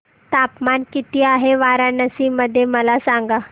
तापमान किती आहे वाराणसी मध्ये मला सांगा